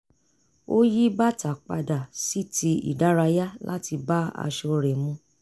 ó yí bàtà padà sí ti ìdárayá láti bá aṣọ rẹ̀ mu